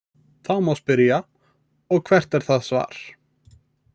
Þá má spyrja: Og hvert er það svar?.